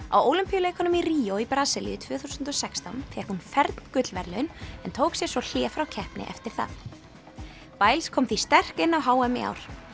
á Ólympíuleikunum í Ríó í Brasilíu tvö þúsund og sextán fékk hún fern gullverðlaun en tók sér svo hlé frá keppni eftir það kom því sterk inn á h m í ár